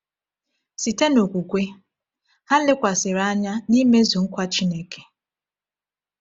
Site n’okwukwe, ha lekwasịrị anya n’imezu nkwa Chineke.